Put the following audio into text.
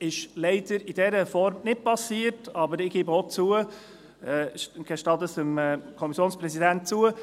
– Das ist leider in dieser Form nicht geschehen, aber ich gestehe es dem Kommissionspräsidenten zu: